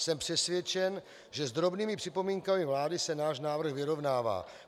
Jsem přesvědčen, že s drobnými připomínkami vlády se náš návrh vyrovnává.